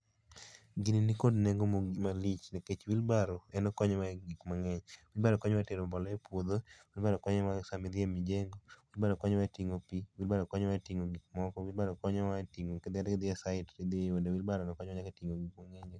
Gini nikod nengo malich nikech wheeelbarow en okonyowa e gik mang'eny. wheelbarow konyowa e tero mbolea e puodho, wheelbarow konyo wa e sama i dhi e mjengo, wheelbarow konoyo wa e tin'go pii, wheelbarow kata ka idhi e site, wheelbaro no monyo wa e tije mang'eny.